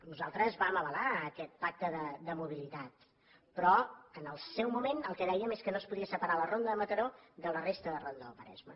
nosaltres vam avalar aquest pacte de mobilitat però en el seu moment el que dèiem és que no es podia separar la ronda de mataró de la resta de ronda del maresme